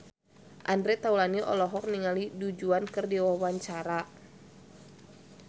Andre Taulany olohok ningali Du Juan keur diwawancara